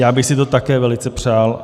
Já bych si to také velice přál.